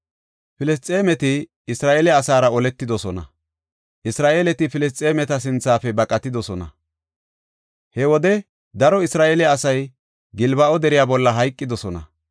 Filisxeemeti Isra7eele asaara oletidosona. Isra7eeleti Filisxeemeta sinthafe baqatidosona. He wode daro Isra7eele asay Gilbo7a deriya bolla hayqidosona.